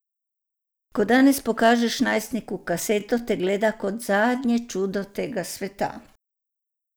Ko danes pokažeš najstniku kaseto, te gleda kot zadnje čudo tega sveta.